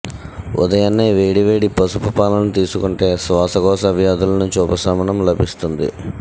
ఉదయాన్నే వేడి వేడి పసుపు పాలని తీసుకుంటే శ్వాసకోశ వ్యాధుల నుంచి ఉపశమనం లభిస్తుంది